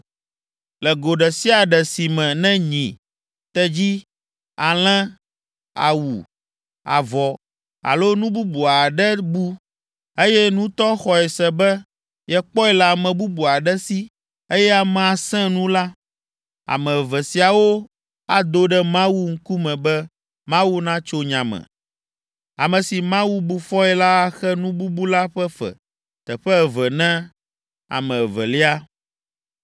“Le go ɖe sia ɖe si me ne nyi, tedzi, alẽ, awu, avɔ alo nu bubu aɖe bu, eye nutɔ xɔe se be yekpɔe le ame bubu aɖe si eye amea sẽ nu la, ame eve siawo ado ɖe Mawu ŋkume be Mawu natso nya me. Ame si Mawu bu fɔe la axe nu bubu la ƒe fe teƒe eve na ame evelia.